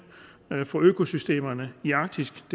for at økosystemerne i arktis